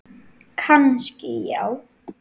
Kannski já.